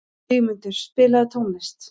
Vígmundur, spilaðu tónlist.